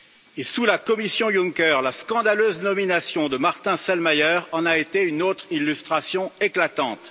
Et sous la Commission Juncker, la scandaleuse nomination de Martin Selmayr, en a été une autre illustration éclatante.